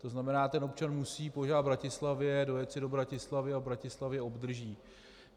To znamená, ten občan musí požádat v Bratislavě, dojet si do Bratislavy a v Bratislavě obdrží.